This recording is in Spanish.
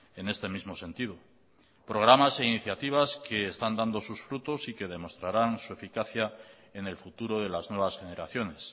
en este mismo sentido programas e iniciativas que están dando sus frutos y que demostrarán su eficacia en el futuro de las nuevas generaciones